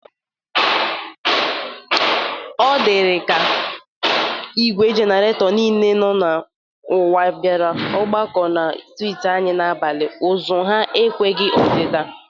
Ọ dịrị nnọ ka igwe jeneretọ niile dị n'ụwa bịara ọgbakọ na strịtị anyị n'abalị. Ụzụ ha ekweghi odịdị.